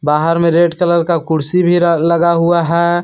बाहर में red colour का कुर्सी भी लगा हुआ है।